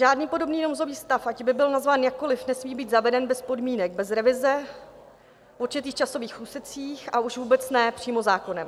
Žádný podobný nouzový stav, ať by byl nazván jakkoliv, nesmí být zaveden bez podmínek, bez revize v určitých časových úsecích, a už vůbec ne přímo zákonem.